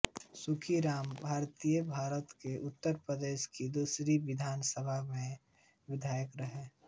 सुखी राम भारतीयभारत के उत्तर प्रदेश की दूसरी विधानसभा सभा में विधायक रहे